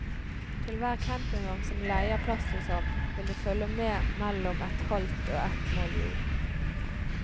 Til hver campingvogn som leier plass hos ham, vil det følge med mellom et halvt og et mål jord.